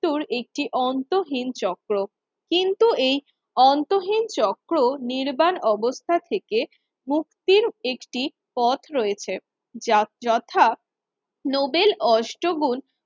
ত্যুর একটি অন্তহীন চক্র কিন্তু এই অন্তহীন চক্র নির্বাণ অবস্থা থেকে মুক্তির একটি পথ রয়েছে। যত্র যথা নোবেল অষ্টগুন